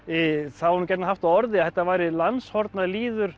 það var nú gjarnan haft á orði að þetta væri